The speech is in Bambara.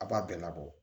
A b'a bɛɛ labɔ